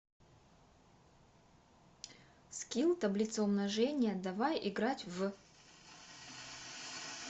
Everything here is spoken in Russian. скилл таблица умножения давай играть в